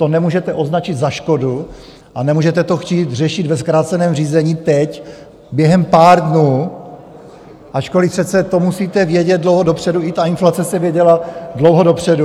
To nemůžete označit za škodu a nemůžete to chtít řešit ve zkráceném řízení teď během pár dnů, ačkoliv přece to musíte vědět dlouho dopředu, i ta inflace se věděla dlouho dopředu.